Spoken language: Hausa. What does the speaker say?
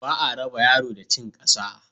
Ba a raba yaro da cin ƙasa.